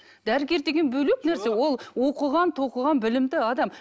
дәрігер деген бөлек нәрсе ол оқыған тоқыған білімді адам